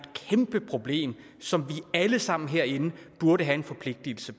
kæmpe problem som vi alle sammen herinde burde have en forpligtigelse